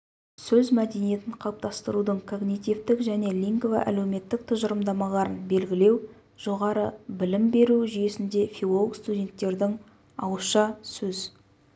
сөз мәдениетін қалыптастырудың когнитивтік және лингво әлеуметтік тұжырымдамаларын белгілеу жоғары білім беру жүйесінде филолог-студенттердің ауызша сөз